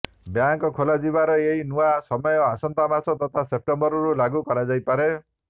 bank ଖୋଲାଯିବାର ଏହି ନୂଆ ସମୟ ଆସନ୍ତା ମାସ ତଥା ସେପ୍ଟେମ୍ବରରୁ ଲାଗୁ କରାଯାଇପାରେ